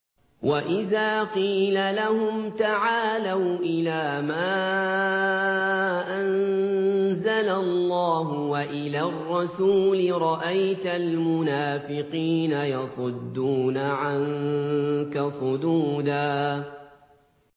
وَإِذَا قِيلَ لَهُمْ تَعَالَوْا إِلَىٰ مَا أَنزَلَ اللَّهُ وَإِلَى الرَّسُولِ رَأَيْتَ الْمُنَافِقِينَ يَصُدُّونَ عَنكَ صُدُودًا